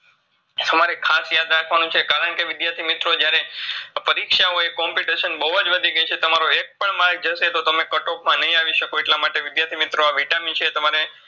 તમારે ખાસ ધ્યાન કણકે વિદ્યાર્થી મિત્રો જ્યારે પરીક્ષા હોય competition બઉઅજ વધી ઐ છે તમારો એક પણ માર્ક જસે તો તમે કટઓફમાં નઇ આવીશકો એટલામાટે વિદ્યાર્થી મિત્રો આ Vitamin છે તમારે